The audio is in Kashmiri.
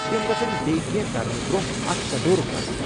تِمہ گژھن بیٚیہِ کٮ۪نٛہہ کرنہٕ برٛۄنٛہہ اتھ تدورٗك كرٕنۍ ۔